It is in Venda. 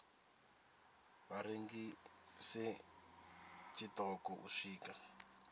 vha rengise tshiṱoko u swika